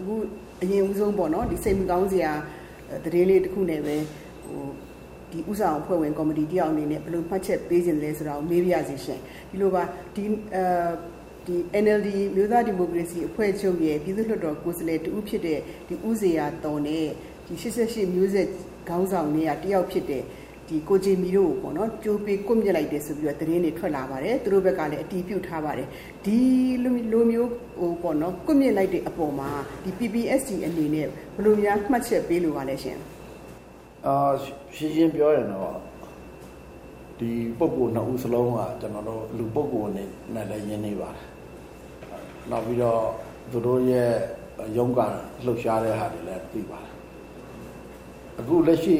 အခု အရင်ဦးဆုံး စိတ်မကောင်းစရာ သတင်းလေးတခုနဲ့ပဲ ဦးဆောင်ကော်မတီအဖွဲ့ဝင်တယောက်အနေနဲ့ ဘယ်လို ဘယ်လိုမှတ်ချက်ပေးချင်သလဲဆိုတာကို မေးပါရစေရှင့်။ ဒီလိုပါ။ NLD အမျိုးသားဒီမိုကရေစီအဖွဲ့ချုပ်ရဲ့ ပြည်သူ့လွှတ်တော်ကိုယ်စားလှယ်တဦးဖြစ်တဲ့ ဦးဖြိုးဇေယျာသော်နဲ့ ၈၈ မျိုးဆက်ခေါင်းဆောင်ထဲကတယောက်ဖြစ်တဲ့ ဦးဂျင်မီတို့ကိုပေါ့နော်၊ ကြိုးပေး ကွပ်မျက်လိုက်တယ်ဆိုတဲ့သတင်းတွေ ထွက်လာပါတယ်။ သူတို့ဘက်ကလည်း အတည်ပြုထားပါတယ်။ ဒီလိုမျိုး ကွပ်မျက်လိုက်တဲ့အပေါ်မှာ PPST အနေနဲ့ ဘယ်လိုများ မှတ်ချက်ပေးလိုပါသလဲရှင့်။ ရှင်းရှင်းပြောရရင်တော့ ဒီပုဂ္ဂိုလ်နှစ်ဦးစလုံးက ကျနော်တို့ လူပုဂ္ဂိုလ်အနေနဲ့လည်း ရင်းနှီးပါတယ်။ နောက်ပြီးတော့ သူတို့ရဲ့ရုန်းကန်လှုပ်ရှားတဲ့ဟာတွေလည်း အခု လက်ရှိ